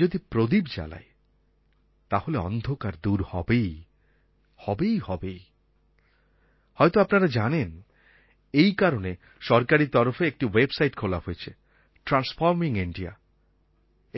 যদি প্রদীপ জ্বালাই তাহলে অন্ধকার দূর হবেই হবেই হবেই হয়তো আপনারা জানেন এই কারণে সরকারী তরফে একটি ওয়েবসাইট খোলা হয়েছে ট্রান্সফর্মিং ইণ্ডিয়া